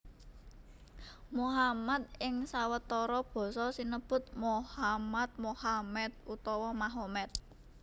Muhammad ing sawetara basa sinebut Mohammad Mohammed utawa Mahomet